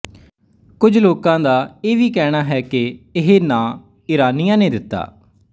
ਕੁਝ ਲੋਕਾਂ ਦਾ ਇਹ ਵੀ ਕਹਿਣਾ ਹੈ ਕਿ ਇਹ ਨਾਂ ਈਰਾਨੀਆਂ ਨੇ ਦਿੱਤਾ